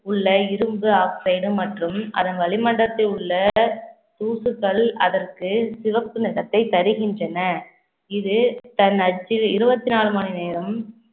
உள்ள, இரும்பு oxide மற்றும் அதன் வளிமண்டலத்தில் உள்ள தூசுக்கள் அதற்கு சிவப்பு நிறத்தை தருகின்றன இது தன் அச்சில் இருபத்தி நாலு மணி நேரம்